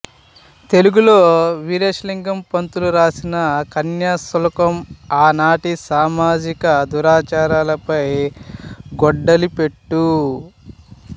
తెలుగులో వీరేశలింగం పంతులు రాసిన కన్యాశుల్కం ఆనాటి సామాజిక దురాచారాలపై గొడ్డలిపెట్టు